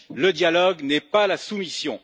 Le dialogue n'est pas la soumission.